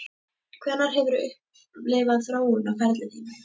Hvenær hefurðu upplifað þróun á ferli þínum?